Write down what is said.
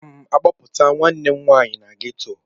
A ga m a kpọpụta nwanne m nwanyị na ghetọ.